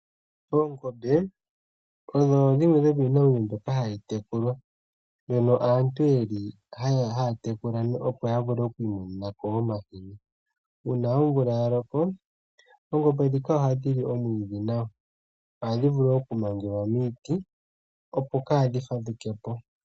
Oongombe odho dhimwe dhomiinamwenyo mbika hayi tekulwa mono aantu yeli haye dhi tekula opo ya vule oku imonena po omahini. Uuna oomvula ya loko, oongombe ndhika ihadhi li omwiidhi nawa. Ohadhi vulu oku mangelwa miiti opo kaadhi fadhuke po.